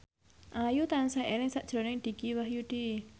Ayu tansah eling sakjroning Dicky Wahyudi